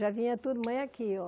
Já vinha turma aqui, ó.